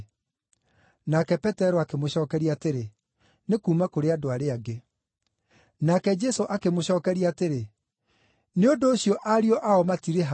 Nake Petero akĩmũcookeria atĩrĩ, “Nĩ kuuma kũrĩ andũ arĩa angĩ.” Nake Jesũ akĩmũcookeria atĩrĩ, “Nĩ ũndũ ũcio ariũ ao matirĩhaga.